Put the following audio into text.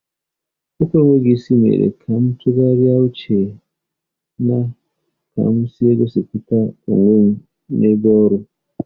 Okwu enweghị isi mere ka m tụgharịa uche na ka m si egosipụta onwe m n’ebe ọrụ.